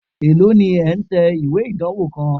Èló ni ẹ̀ ń tẹ ìwé ìdánwó kan?